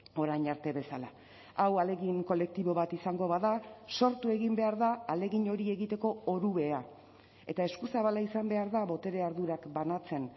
orain arte bezala hau ahalegin kolektibo bat izango bada sortu egin behar da ahalegin hori egiteko orubea eta eskuzabala izan behar da botere ardurak banatzen